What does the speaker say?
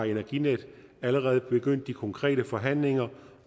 energinetdk allerede begyndt de konkrete forhandlinger